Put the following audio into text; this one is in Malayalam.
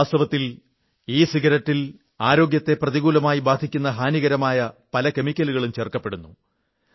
വാസ്തവത്തിൽ ഇസിഗരറ്റിൽ ആരോഗ്യത്തെ പ്രതികൂലമായി ബാധിക്കുന്ന ഹാനികരമായ പല കെമിക്കലുകളും ചേർക്കപ്പെടുന്നു